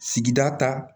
Sigida ta